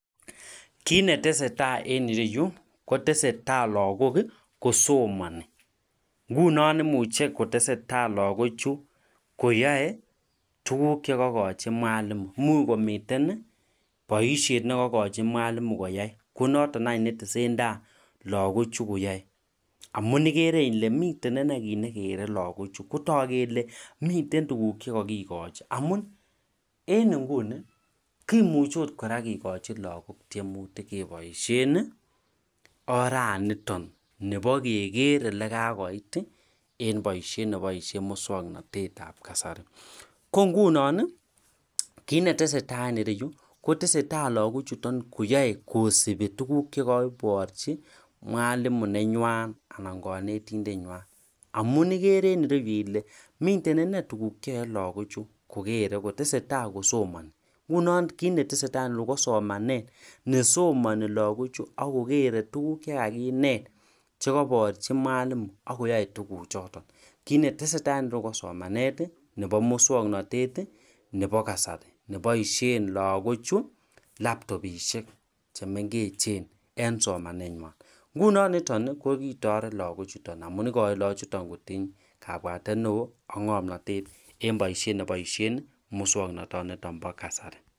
kiit netesetai en ireyu kotesetai lagook iih kosomoni, ngunon imuche kotesetai lagook chu koyoe tuguuk chegokochi mwalimu, imuch komiten boishet negogochi mwalimu koyaai konoton any netesentai lagook chu koyaoe, amuun igere ile miten ineei kiit negere lagook chu, kotook kele miten tuguk chegokogochi amuun en inguni kimuche ooh kora kigochi lagok tyemutik keboishen oraniton nibo kegeer elegakoit iih en boishet neboishen muswoknotet ab kasari, ko ngunoon iih kiit netesetai en ireyu kotesetai lagoook chuton koyaoe kosibi tuguuk chekoborchi mwalimu nenywaan anan konetindet nywaan, amuun igere en ireyu ile miten inei tuguuk cheyoe lagook chu, kogere kotesetai kosomoni ngunoon kiit netesetai en ireyu ko somanet kosomoni lagook chu ak kogere kotesetai kosomoni, ngunon kiit netesetai en ireyu ko somanet nesomoni lagook chu ak kogere tuguuk chegakineet chekoborchi mwalimu ak koyoe tuguk choton, kiit netesetai en ireyu ko somanet iih nebo muswoknotet iih nebo kasari neboishen lagook chu laptobishek chemengechen en somanet nywaan, ngunon niton iih ko kitoret lagook chuton amuun igoin lagook chuton kotiny kabwatet neoo ak ngomnotet en boishet neboishen muswoknoton niton bo kasari.